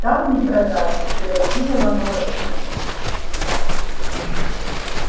там не продашь и перочинного ножика